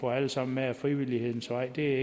få alle sammen med ad frivillighedens vej det